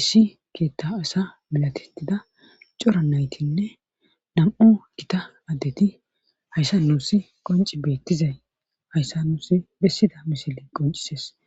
issi keettaasa milatitida cora naytinne nam'u kita addeti hayssa nuu si qonci beettizay hayssa nuusi bessida mishiley qoncises